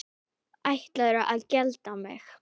Ætlarðu að gelda mig?